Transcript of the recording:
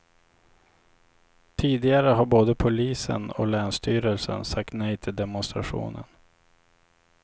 Tidigare har både polisen och länsstyrelsen sagt nej till demonstrationen.